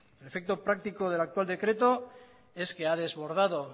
el efecto práctico del actual decreto es que ha desbordado